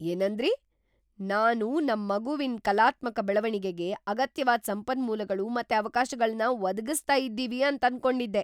ಏನಂದ್ರಿ?! ನಾನು ನಮ್ ಮಗುವಿನ್ ಕಲಾತ್ಮಕ ಬೆಳವಣಿಗೆಗೆ ಅಗತ್ಯವಾದ್ ಸಂಪನ್ಮೂಲಗಳು ಮತ್ತೆ ಅವಕಾಶಗಳ್ನ ಒದಗಿಸ್ತಾ ಇದ್ದೀವಿ ಅಂತನ್ಕೊಂಡಿದ್ದೆ.